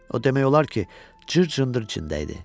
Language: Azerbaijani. O demək olar ki, cır-cındır içində idi.